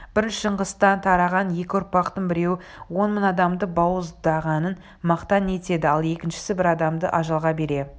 бір шыңғыстан тараған екі ұрпақтың біреуі он мың адамды бауыздағанын мақтан етеді ал екіншісі бір адамды ажалға бере